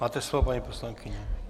Máte slovo, paní poslankyně.